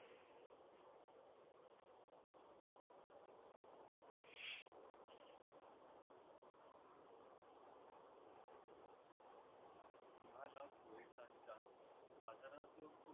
तुम्हाला पोलिसांच्या बाजारात खूप